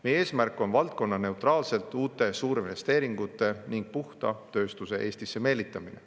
Meie eesmärk on valdkonnaneutraalselt uute suurinvesteeringute ning puhta tööstuse Eestisse meelitamine.